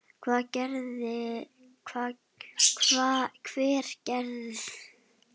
Hver gerir þetta ekki?